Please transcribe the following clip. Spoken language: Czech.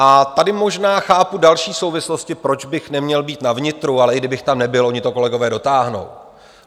A tady možná chápu další souvislosti, proč bych neměl být na vnitru - ale i kdybych tam nebyl, oni to kolegové dotáhnou.